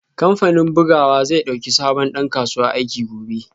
Kamfanin bugawa zai dauki sabon dan kasuwa aiki gobe